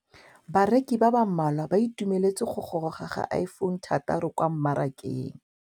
Bareki ba ba malwa ba ituemeletse go gôrôga ga Iphone6 kwa mmarakeng.